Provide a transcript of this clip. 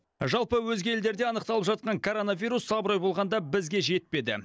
жалпы өзге елдерде анықталып жатқан коронавирус абырой болғанда бізге жетпеді